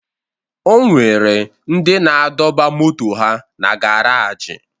O nwere ndị na-adọba moto ha na garaajị